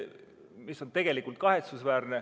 See on tegelikult kahetsusväärne.